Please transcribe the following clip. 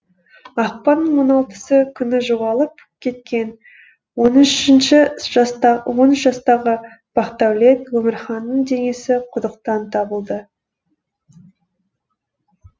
ақпанның он алтысы күні жоғалып кеткен он үш жастағы бақдәулет өмірханның денесі құдықтан табылды